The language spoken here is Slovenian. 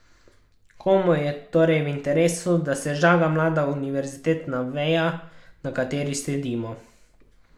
Komu je torej v interesu, da se žaga mlada univerzitetna veja, na kateri sedimo?